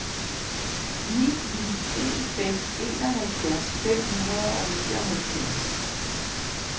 ni ni en fem enoghalvfjerds fem hundrede og nioghalvfjerds